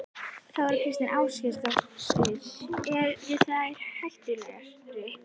Þóra Kristín Ásgeirsdóttir: Eru þeir hættulegir?